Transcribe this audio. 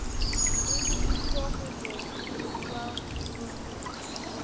e lebiswe ho mohiriwa mokodi